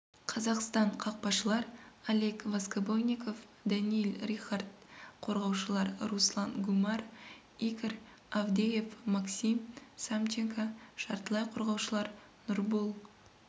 қазақстан қақпашылар олег воскобойников даниил рихард қорғаушылар руслан гумар игорь авдеев максим самченко жартылай қорғаушылар нұрбол